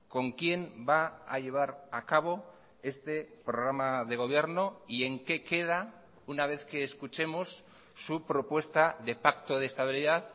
con quién va a llevar a cabo este programa de gobierno y en qué queda una vez que escuchemos su propuesta de pacto de estabilidad